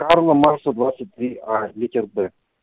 карла маркса двадцать три а литер б